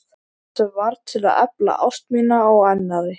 Sem varð til að efla ást mína á annarri.